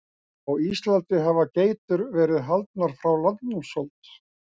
Á Íslandi hafa geitur verið haldnar frá landnámsöld.